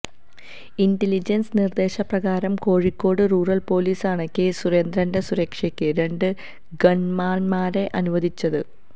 intelligence നിർദ്ദേശപ്രകാരം Kozhikode rural പോലീസാണ് കെ സുരേന്ദ്രൻ്റെ സുരക്ഷക്ക് രണ്ട് ഗൺമാന്മാരെ അനുവദിച്ചത്